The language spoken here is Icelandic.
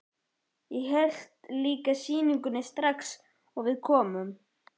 Ég hélt líka sýningu strax og við komum.